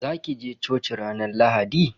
Za ki je coci ranar Lahadi?